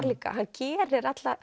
líka að hann gerir